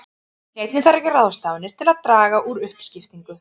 Einnig þarf að gera ráðstafanir til að draga úr uppskiptingu.